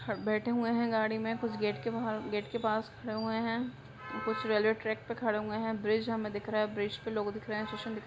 बेठे हुए हैं गाँडी में कुछ गेट के बाहर गेट पास खड़े हुए हैं कुछ रेलवे ट्रेक पे खड़े हुए हैं। ब्रिज हमें दिख रहा है। ब्रिज पे लोग दिख रहे हैं। --